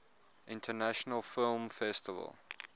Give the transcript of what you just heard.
international film festival